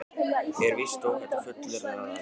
Er víst óhætt að fullyrða, að Alexander